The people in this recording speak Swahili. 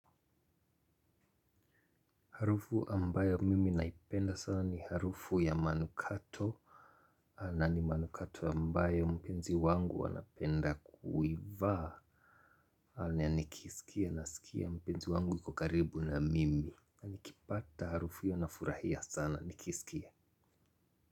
Harufu ambayo mimi naipenda sana ni harufu ya manukato. Na ni manukato ambayo mpenzi wangu anapenda kuivaa na nikisikia nasikia mpenzi wangu yuko karibu na mimi. Nikipata harufu hiyo nafurahia sana nikisikia.